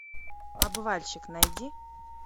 обвальщик найди